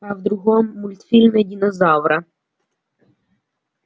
а в другом мультфильме динозавра